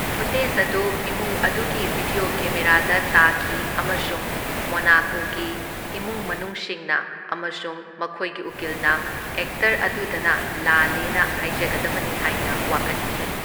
Footage ꯑꯗꯨ ꯏꯃꯨꯡ ꯑꯗꯨꯒꯤ ꯚꯤꯗ꯭ꯌꯣ ꯀꯦꯃꯦꯔꯥꯗ ꯇꯥꯈꯤ ꯑꯃꯁꯨꯡ ꯃꯣꯅꯥꯀꯣꯒꯤ ꯏꯃꯨꯡ ꯃꯅꯨꯡꯁꯤꯡꯅ ꯑꯃꯁꯨꯡ ꯃꯈꯣꯢꯒꯤ ꯎꯀꯤꯜꯅ ꯑꯦꯛꯇꯔ ꯑꯗꯨꯗꯅ ꯂꯥꯜꯂꯦꯅ ꯍꯥꯢꯖꯒꯗꯕꯅꯤ ꯍꯥꯢꯅ ꯋꯥꯀꯠꯈꯤ꯫